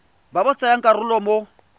ba ba tsayang karolo mo